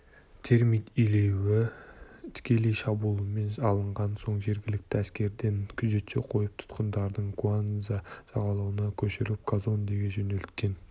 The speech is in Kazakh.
термит илеуі тікелей шабуылмен алынған соң жергілікті әскерлерден күзетші қойып тұтқындарды куанза жағалауынан көшіріп казондеге жөнелткен